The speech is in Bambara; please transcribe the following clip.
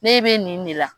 Ne bɛ nin de la